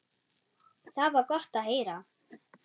Það var gott að heyra.